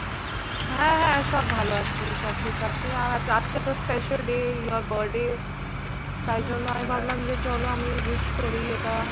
হ্যাঁ হ্যাঁ সব ভালো আছি, সব ঠিক আছে। আজকে তো special day your birthday তাই জন্য আমি ভাবলাম যে চলো আমি wish করি এটা